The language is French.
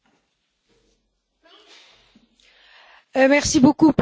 Merci beaucoup pour votre question, c'est très volontiers que j'y réponds.